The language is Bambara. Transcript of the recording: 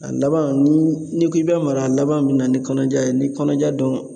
A laban ni k'i bi mara laban min na ni kɔnɔja ye ni kɔnɔja dun